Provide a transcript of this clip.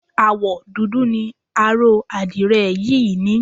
Àwọ̀ dúdú ni aró àdirẹ̀ yìí ní.